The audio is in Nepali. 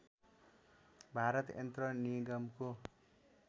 भारत यन्त्र निगमको